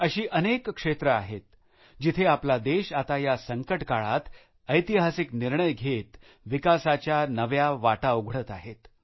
अशी अनेक क्षेत्र आहेत जिथे आपला देश आता या संकटकाळात आपला देश ऐतिहासिक निर्णय घेत विकासाच्या नव्या वाटा उघडत आहे